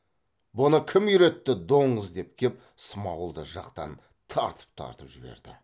бұны кім үйретті доңыз деп кеп смағұлды жақтан тартып тартып жіберді